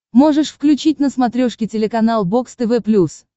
можешь включить на смотрешке телеканал бокс тв плюс